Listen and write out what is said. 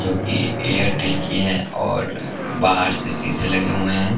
जो कि एयरटेल की है और बाहर से शीशे लगे हुए हैं ।